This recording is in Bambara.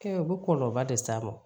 Kɛ u bɛ kɔlɔlɔ de s'a ma